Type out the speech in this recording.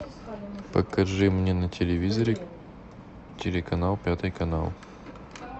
покажи мне на телевизоре телеканал пятый канал